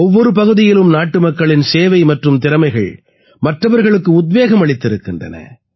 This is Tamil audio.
ஒவ்வொரு பகுதியிலும் நாட்டுமக்களின் சேவை மற்றும் திறமைகள் மற்றவர்களுக்கு உத்வேகம் அளித்திருக்கின்றன